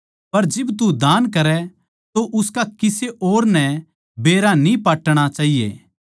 पर जिब तू दान करै तो उसका किसे और नै बेरा न्ही पाटणा चाहिए